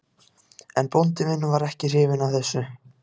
En bóndi minn var ekki hrifinn af þessu.